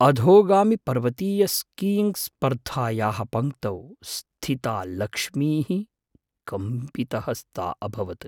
अधोगामिपर्वतीयस्कीयिङ्ग्स्पर्धायाः पङ्क्तौ स्थिता लक्ष्मीः कम्पितहस्ता अभवत्।